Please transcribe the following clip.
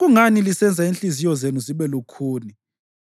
Kungani lisenza inhliziyo zenu zibe lukhuni